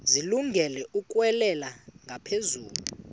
zilungele ukwalekwa ngaphezulu